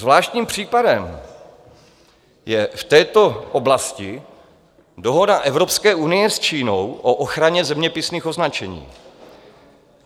Zvláštním případem je v této oblasti dohoda Evropské unie s Čínou o ochraně zeměpisných označení.